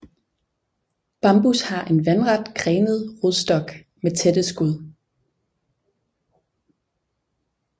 Bambus har en vandret grenet rodstok med tætte skud